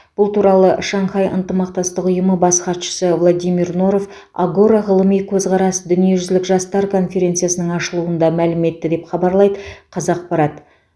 бұл туралы шанхай ынтымақтастық ұйымы бас хатшысы владимир норов агора ғылыми көзқарас дүниежүзілік жастар конференциясының ашылуында мәлім етті деп хабарлайды қазақпарат